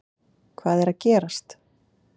Hvað er að gerast!